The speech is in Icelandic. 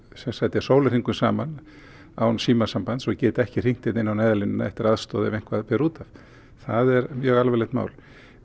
er sólarhringum saman án símasambands og geti ekki hringt á Neyðarlínuna eftir aðstoð ef eitthvað ber út af það er mjög alvarlegt mál